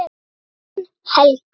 Þín Helga.